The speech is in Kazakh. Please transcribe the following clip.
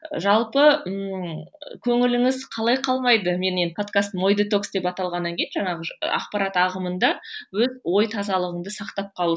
жалпы ыыы көңіліңіз қалай қалмайды енді менің подкастым ой детокс деп аталғаннан кейін жаңағы ақпарат ағымында өз ой тазалығыңды сақтап қалу